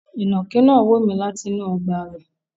Ìnànkí náà wo mi látinú ogbà rẹ̀